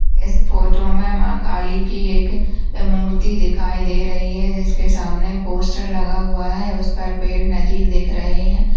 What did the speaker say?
इस फोटो में माँ काली की एक मूर्ति दिखाई दे रही है जिसके सामने पोस्टर लगा हुआ है उस पर पेड़ नदी दिख रहे हैं।